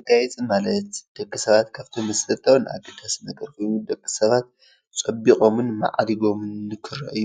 መጋየፂ ማለት ደቂ ሰባት ካብቶም መሰረታውን ኣገዳሲ ነገራት ደቂ ሳባት ፀቢቆምን ማዕሪጎምን ንክረአዩ